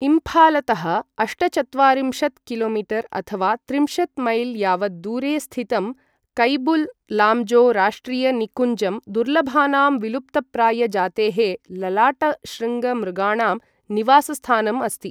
इम्फालतः अष्टचत्वारिंशत् कि.मी.अथवा त्रिंशत् मील् यावत् दूरे स्थितं कैबुल् लाम्जो राष्ट्रिय निकुञ्जं दुर्लभानां विलुप्तप्राय जातेः ललाटशृङ्ग मृगाणां निवासस्थानम् अस्ति।